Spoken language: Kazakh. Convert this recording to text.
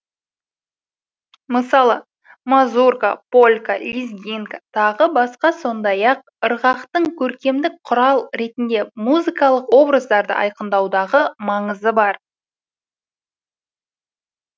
мысалы мазурка полька лезгинка тағы басқа сондай ақ ырғақтың көркемдік құрал ретінде музыкалық образдарды айқындаудағы маңызы бар